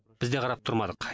біз де қарап тұрмадық